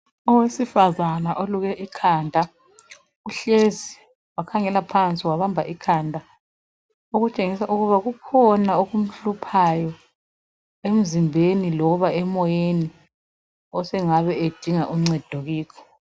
Owesifazana oluke ikhanda uhlezi wakhangela phansi wabamba ikhanda ukutshengisa ukuba khona okumhluphayo emzimbeni loba emoyeni osengabe edinga uncedo kiko